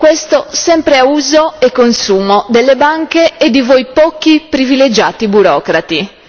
Questo sempre a uso e consumo delle banche e di voi pochi privilegiati burocrati.